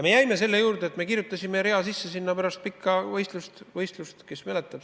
Me jäime selle juurde, et me kirjutasime sinna pärast pikka võitlust sisse ühe rea, ehk keegi mäletab.